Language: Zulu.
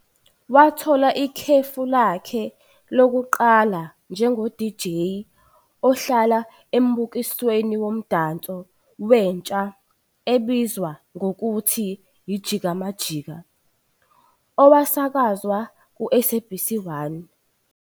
Wathola ikhefu lakhe lokuqala njengo-DJ ohlala embukisweni womdanso wentsha obizwa ngokuthi "I-Jika Majika" owasakazwa ku-I-SABC 1.